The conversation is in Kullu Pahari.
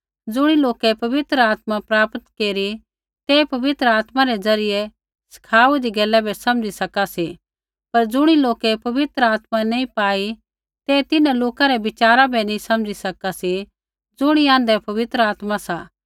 ज़ुणी लोकै पवित्र आत्मा प्राप्त केरी ते पवित्र आत्मा ज़रियै सिखाहुन्दी गैला बै समझी सका सी पर ज़ुणी लोकै पवित्र आत्मा नैंई पाई ते तिन्हां लोका रै बिचारा बै नैंई समझी सका सी ज़ुणी आँध्रै पवित्र आत्मा सा